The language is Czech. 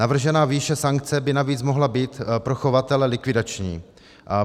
Navržená výše sankce by navíc mohla být pro chovatele likvidační.